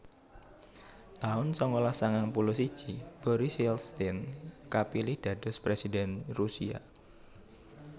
taun sangalas sangang puluh siji Boris Yeltsin kapilih dados Presiden Rusia